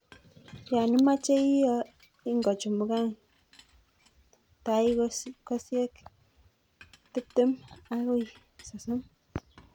Yon imoche iyo, ingochumukan taikosiek tiptem akoi sosom.